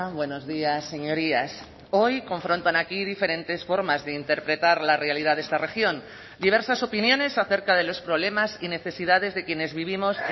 buenos días señorías hoy confrontan aquí diferentes formas de interpretar la realidad de esta región diversas opiniones acerca de los problemas y necesidades de quienes vivimos